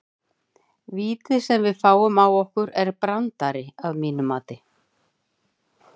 Vítið sem að við fáum á okkur er brandari að mínu mati.